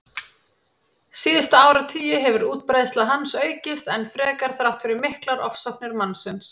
Síðustu áratugi hefur útbreiðsla hans aukist enn frekar þrátt fyrir miklar ofsóknir mannsins.